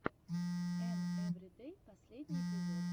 эм эвридэй последний эпизод